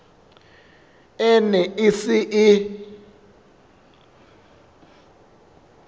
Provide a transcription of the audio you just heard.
e ne e se e